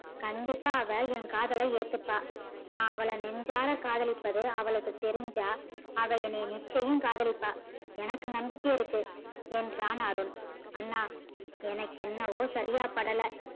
கண்டிப்பா அவ ஏன் காதல ஏத்துப்பா நா நெஞ்சார காதலிப்பது அவளுக்கு தெரிஞ்சா அவ என்னைய நிச்சையம் காதலிப்பா எனக்கு நம்பிக்க இருக்கு என்றான் அருண் அண்ணா எனக்கு என்னமோ சரியா படல